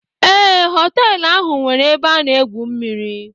Ee, họtelụ ahụ nweere ebe a na-egwu mmiri.